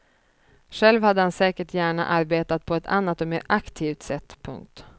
Själv hade han säkert gärna arbetat på ett annat och mera aktivt sätt. punkt